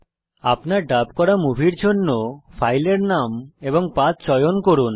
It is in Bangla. আপনার ডাব করা মুভির জন্য ফাইলের নাম এবং পথ চয়ন করুন